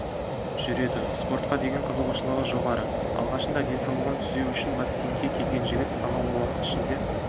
жүреді спортқа деген қызығушылығы жоғары алғашында денсаулығын түзеу үшін бассейнге келген жігіт санаулы уақыт ішінде